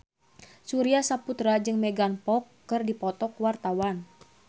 Surya Saputra jeung Megan Fox keur dipoto ku wartawan